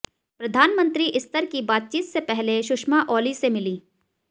प्रधानमंत्री स्तर की बातचीत से पहले सुषमा ओली से मिलीं